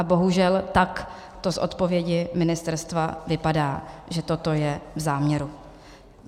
A bohužel tak to z odpovědi ministerstva vypadá, že toto je v záměru.